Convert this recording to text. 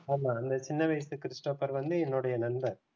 ஆமா அந்த சின்ன வயசு கிறிஸ்டோபர் வந்து என்னுடைய நண்பர்